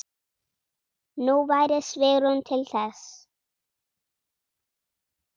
Nú væri svigrúm til þess.